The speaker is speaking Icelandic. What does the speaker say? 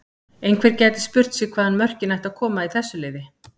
Einhver gæti spurt sig hvaðan mörkin ættu að koma í þessu liði?